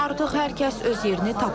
Artıq hər kəs öz yerini tapıb.